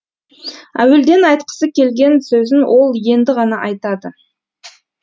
әуелден айтқысы келген сөзін ол енді ғана айтады